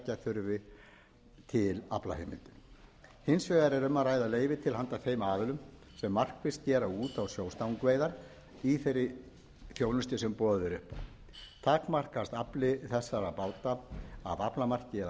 þurfi til aflaheimildir hins vegar er um að ræða leyfi til handa þeim aðilum sem markvisst gera út á sjóstangaveiðar í þeirri þjónustu sem boðið er upp á takmarkast afli þessara báta af aflamarki